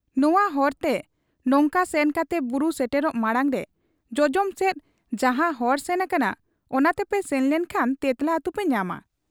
ᱱᱚᱶᱟ ᱦᱚᱨᱛᱮ ᱱᱚᱝᱠᱟ ᱥᱮᱱ ᱠᱟᱛᱮ ᱵᱩᱨᱩ ᱥᱮᱴᱮᱨᱚᱜ ᱢᱟᱬᱟᱝᱨᱮ ᱡᱚᱡᱚᱢ ᱥᱮᱫ ᱡᱟᱦᱟᱸ ᱦᱚᱨ ᱥᱮᱱ ᱟᱠᱟᱱᱟ, ᱚᱱᱟᱛᱮᱯᱮ ᱥᱮᱱᱞᱮᱱ ᱠᱷᱟᱱ ᱛᱮᱸᱛᱞᱟ ᱟᱹᱛᱩᱯᱮ ᱧᱟᱢᱟ ᱾